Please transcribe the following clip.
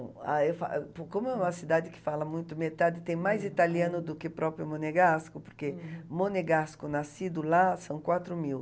Ah, eu fa... Como é uma cidade que fala muito, metade, tem mais italiano do que próprio Monegasco, porque Monegasco, nascido lá, são quatro mil.